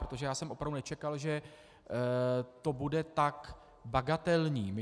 Protože já jsem opravdu nečekal, že to bude tak bagatelní.